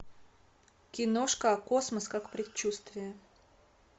киношка космос как предчувствие